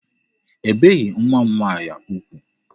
Ebeghi nwa m nwaanyị ugwu.